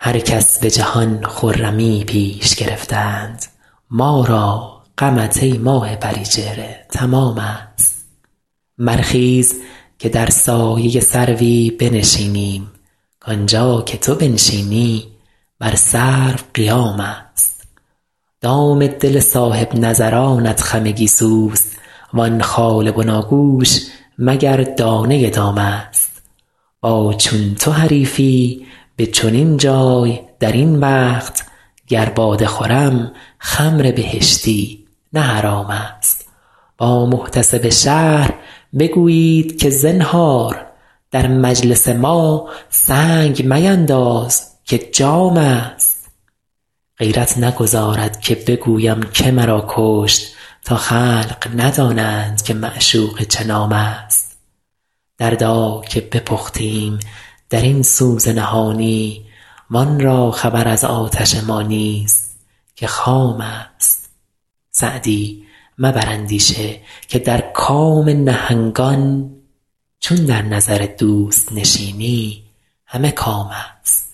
هر کس به جهان خرمیی پیش گرفتند ما را غمت ای ماه پری چهره تمام است برخیز که در سایه سروی بنشینیم کانجا که تو بنشینی بر سرو قیام است دام دل صاحب نظرانت خم گیسوست وان خال بناگوش مگر دانه دام است با چون تو حریفی به چنین جای در این وقت گر باده خورم خمر بهشتی نه حرام است با محتسب شهر بگویید که زنهار در مجلس ما سنگ مینداز که جام است غیرت نگذارد که بگویم که مرا کشت تا خلق ندانند که معشوقه چه نام است دردا که بپختیم در این سوز نهانی وان را خبر از آتش ما نیست که خام است سعدی مبر اندیشه که در کام نهنگان چون در نظر دوست نشینی همه کام است